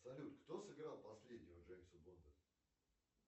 салют кто сыграл последнего джеймса бонда